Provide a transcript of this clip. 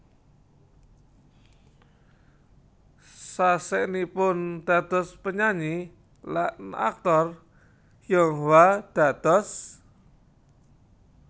Sasenipun dados penyanyi lan aktor Yonghwa dados